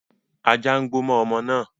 Ajá ń gbó mọ́ ọmọ náà